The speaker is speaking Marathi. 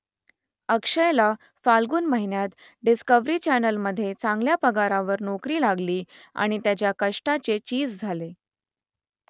अक्षयला फाल्गुन महिन्यात डिस्कव्हरी चॅनेलमध्ये चांगल्या पगारावर नोकरी लागली आणि त्याच्या कष्टाचे चीज झाले